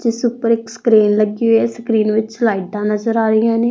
ਜਿਸ ਉੱਪਰ ਇੱਕ ਸਕਰੀਨ ਲੱਗੀ ਹੋਈ ਆ ਸਕਰੀਨ ਵਿੱਚ ਲਾਈਟਾਂ ਨਜ਼ਰ ਆ ਰਹੀਆਂ ਹੈ।